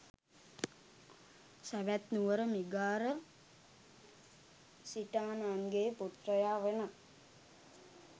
සැවැත් නුවර මිගාර සිටාණන්ගේ පුත්‍රයා වන